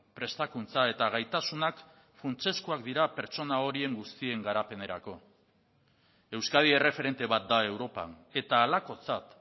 prestakuntza eta gaitasunak funtsezkoak dira pertsona horien guztien garapenerako euskadi erreferente bat da europan eta halakotzat